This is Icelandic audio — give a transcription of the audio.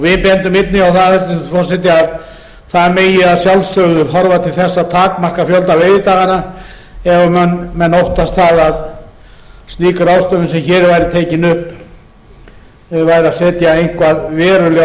við bendum einnig á það hæstvirtur forseti að það megi að sjálfsögðu horfa til þess að takmarka fjölda veiðidaganna þegar menn óttast það að slík ráðstöfun sem hér er tekin upp væri að setja eitthvað verulega